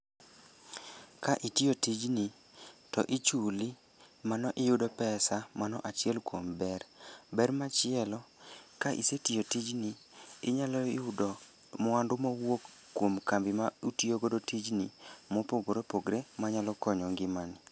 Ka itiyo tij ni to ichuli mano iyudo pesa, mano achiel kuom ber. Ber machielo, ka isetiyo tijni inyalo yudo mwandu mowuok kuom kambi ma utiyogodo tijni mopogore opogore ma nyalo konyo ngima ni.